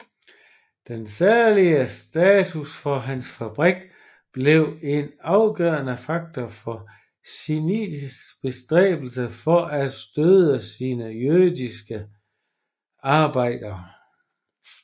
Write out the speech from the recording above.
Den særlige status for hans fabrik blev en afgørende faktor for Schindlers bestræbelser for at støtte sine jødiske arbejdere